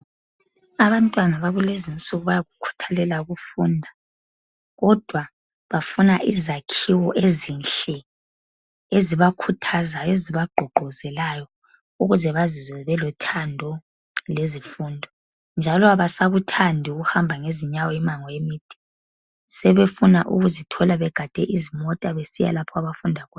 Abantwana bakulezi insuku bayakukhuthalela ukufunda, kodwa bafuna izakhiwo ezinhle eziba khuthazayo eziba gqugquzelayo ukuze bazizwe belothando lezifundo, njalo abasakuthandi ukuhamba ngezinyawo imango emide sebefuna ukuzithola begade izimota besiya lapha abafunda khona.